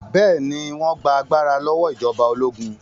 Bẹ́ẹ̀ ni, wọ́n gba agbára lọ́wọ́ ìjọba ológun.